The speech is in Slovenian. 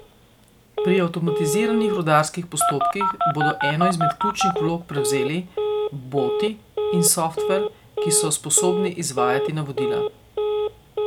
Pri avtomatiziranih rudarskih postopkih bodo eno izmed ključnih vlog prevzeli boti in softver, ki so sposobni izvajati navodila.